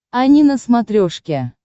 ани на смотрешке